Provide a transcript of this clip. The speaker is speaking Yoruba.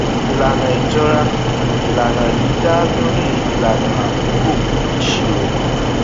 ìlànà ìjọra ìlànà yìí dá lórí ìlànà àkókò ìṣirò